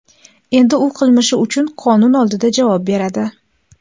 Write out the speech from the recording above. Endi u qilmishi uchun qonun oldida javob beradi.